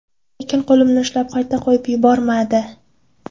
Lekin qo‘limni ushlab, qayta qo‘yib yubormadi.